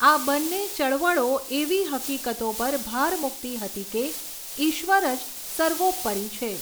આ બંને ચળવળો એવી હકીકતો પર ભાર મુકતી હતી કે ઈશ્વર જ સર્વોપરી છે.